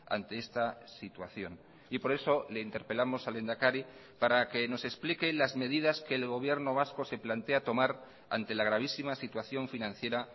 ante esta situación y por eso le interpelamos al lehendakari para que nos explique las medidas que el gobierno vasco se plantea tomar ante la gravísima situación financiera